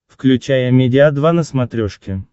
включай амедиа два на смотрешке